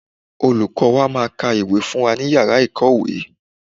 Olùkọ́ọ wa máa ka ìwé fún wa ní Yàrá ìkọ́ọ̀wé.